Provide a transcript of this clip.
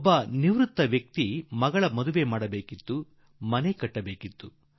ಒಬ್ಬ ನಿವೃತ್ತ ವ್ಯಕ್ತಿ ತನ್ನ ಮಗಳ ಮದುವೆ ಮಾಡಬೇಕಿತ್ತು ಮತ್ತು ಮನೆ ಕಟ್ಟಬೇಕಿತ್ತು